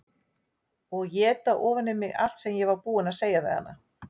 Og éta ofan í mig allt sem ég var búin að segja við hana.